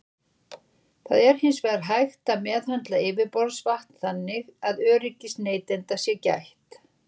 Það er hins vegar hægt að meðhöndla yfirborðsvatn þannig að öryggis neytenda sé gætt.